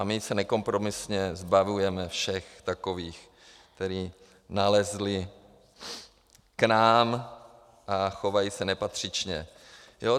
A my se nekompromisně zbavujeme všech takových, kteří nalezli k nám a chovají se nepatřičně.